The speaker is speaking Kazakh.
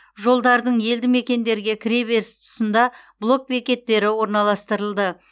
жолдардың елді мекендерге кіре беріс тұсында блок бекеттері орналастырылды